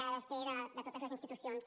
ha de ser de totes les institucions